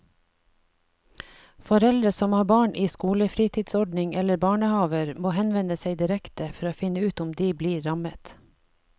Foreldre som har barn i skolefritidsordning eller barnehaver må henvende seg direkte for å finne ut om de blir rammet.